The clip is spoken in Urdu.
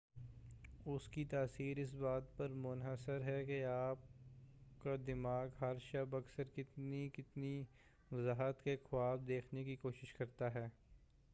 اسکی تاثیر اس بات پر منحصر ہے کہ آپکا دماغ ہر شب اکثر کتنی وضاحت سے خواب دیکھنے کی کوشش کرتا ہے